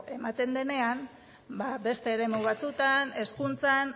ematen denean ba beste eremu batzuetan hezkuntzan